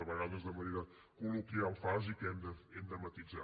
a vegades de manera col·loquial fas i que hem de matisar